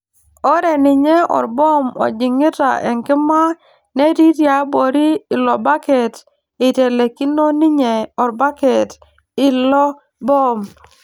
Ore ninye orboom ojing'ita enkima netii tiaabori ilobaket eitelikino ninye orbaket ilo boom.